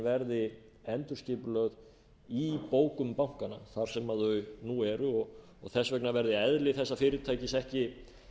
verði endurskipulögð í bókum bankanna þar sem þau nú eru þess vegna verði eðli þessa fyrirtækis ekki